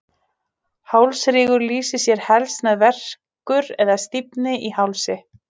Hálsrígur lýsir sér helst sem verkur eða stífni í hálsi.